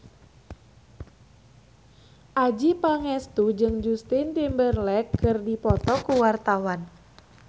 Adjie Pangestu jeung Justin Timberlake keur dipoto ku wartawan